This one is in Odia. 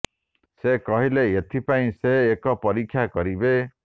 ସେ କହିଲେ ଏଥି ପାଇଁ ସେ ଏକ ପରୀକ୍ଷା କରିବେ